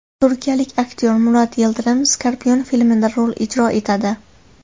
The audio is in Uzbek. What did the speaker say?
Turkiyalik aktyor Murat Yildirim Scorpion filmida rol ijro etadi.